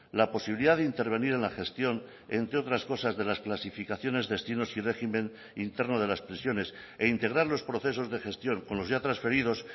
la posibilidad de intervenir en la gestión entre otras cosas de las clasificaciones destinos y régimen interno de las prisiones e integrar los procesos de gestión con los ya transferidos